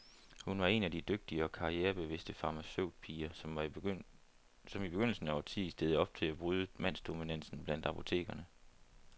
Hun var en af de dygtige og karrierebevidste farmaceutpiger, som i begyndelsen af årtiet stillede op til at bryde mandsdominansen blandt apotekerne.